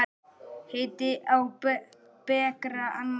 Heiti á bekra annað er.